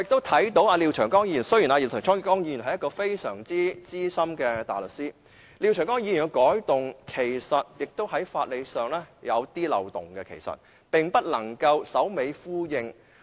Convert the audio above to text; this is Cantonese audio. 雖然廖長江議員是一位非常資深的大律師，他提出的修訂建議其實在法理上有點漏洞，並不能首尾呼應。